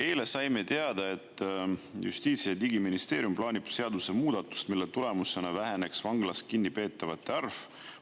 Eile saime teada, et Justiits- ja Digiministeerium plaanib seadusemuudatust, mille tulemusena väheneks vanglas kinnipeetavate arv.